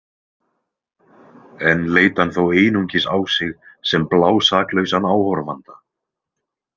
Enn leit hann þó einungis á sig sem blásaklausan áhorfanda.